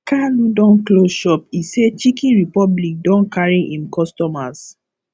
kalu don close shop e say chiken republic don carry im customers